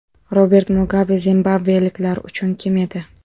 Robert Mugabe zimbabveliklar uchun kim edi?